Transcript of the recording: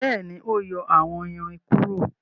béèni o yọ àwón ìrìn kúrò.